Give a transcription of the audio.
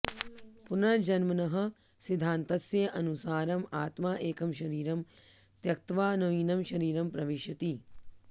पुनर्जन्मनः सिद्धान्तस्य अनुसारम् आत्मा एकं शरीरं त्यक्त्वा नवीनं शरीरं प्रविशति